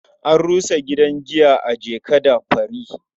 An rusa gidan giya a Jeka-da-Fari.